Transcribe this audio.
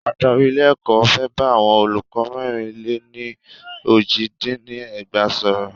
Adarí ilé ẹ̀kọ́ fẹ́ bá àwọn olùkọ́ mẹ́rìn le ní ní ójì dín ní ẹgbàá sọ̀rọ́.